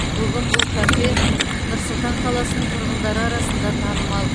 бүгін бұл кафе нұр сұлтан қаласының тұрғындары арасында танымал